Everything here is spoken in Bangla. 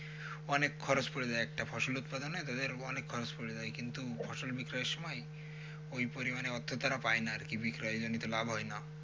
অনেক খরচ পড়ে যায় একটা ফসল উতপাদনে তাদের অনেক খরচ পড়ে যায় কিন্তু ফসল বিক্রয়ের সময়ে ওই পরিমানে অর্থ তারা পায়না আরকি বিক্রয়জনিত লাভ হয়না।